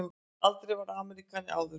Aldrei verið Ameríkani áður.